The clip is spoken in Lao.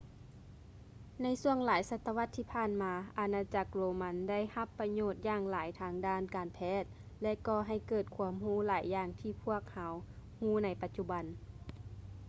ໃນຊ່ວງຫລາຍສະຕະວັດທີ່ຜ່ານມາ ອານາຈັກໂຣມັນໄດຮັບປະໂຫຍດຢ່າງຫຼາຍທາງດ້ານການແພດ ແລະ ກໍໃຫ້ເກີດຄວາມຮູ້ຫຼາຍຢ່າງທີ່ພວກເຮົາຮູ້ໃນປະຈຸບັນ